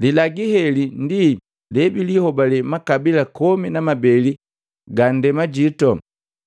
Lilagu heli ndi jebijihobale makabila komi na mabeli ga nndemajito,